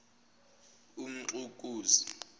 umxukuzi